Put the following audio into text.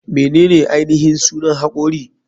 Menene ainihin sunan hakori?